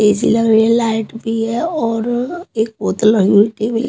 AC लग रही है लाइट भी है और एक बोतल लगी हुई --